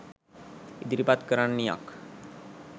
ඉදිරිපත් කරන්නියක්